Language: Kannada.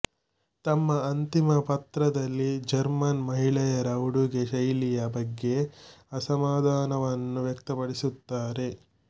ತಮ್ಮ ಅಂತಿಮ ಪತ್ರದಲ್ಲಿ ಜರ್ಮನ್ ಮಹಿಳೆಯರ ಉಡುಗೆ ಶೈಲಿಯ ಬಗ್ಗೆ ಅಸಮಾಧಾನವನ್ನು ವ್ಯಕ್ತಪಡಿಸುತ್ತಾರೆ